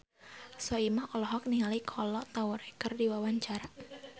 Soimah olohok ningali Kolo Taure keur diwawancara